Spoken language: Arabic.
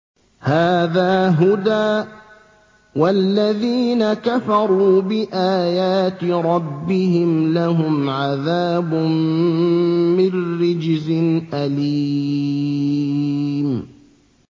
هَٰذَا هُدًى ۖ وَالَّذِينَ كَفَرُوا بِآيَاتِ رَبِّهِمْ لَهُمْ عَذَابٌ مِّن رِّجْزٍ أَلِيمٌ